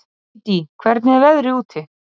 Dídí, hvernig er veðrið úti?